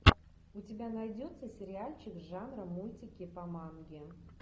у тебя найдется сериальчик жанра мультики по манге